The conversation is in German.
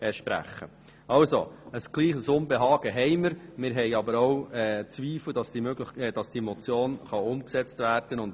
Also, wir haben gleichwohl ein Unbehagen, haben aber auch Zweifel daran, ob die Motion umgesetzt werden kann.